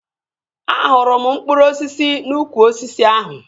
Ahụrụ m mkpụrụ osisi n'ukwu osisi ahụ